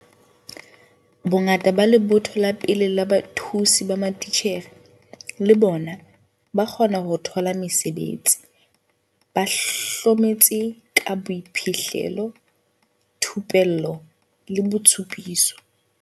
Bongata ba lebotho la pele la bathusi ba matitjhere, le bona, ba kgona ho thola mesebetsi, ba hlometse ka boiphihlelo, thupello le ditshupiso.